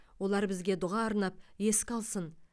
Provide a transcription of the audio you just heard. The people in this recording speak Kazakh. олар бізге дұға арнап еске алсын